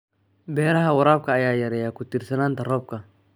Beeraha waraabka ayaa yareeya ku tiirsanaanta roobabka.